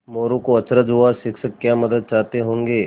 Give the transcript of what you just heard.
मोरू को अचरज हुआ शिक्षक क्या मदद चाहते होंगे